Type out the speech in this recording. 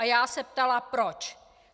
A já se ptala proč.